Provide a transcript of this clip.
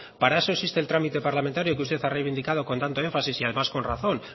para eso existe el trámite reglamentario que usted ha reivindicado con tanto énfasis y además con razón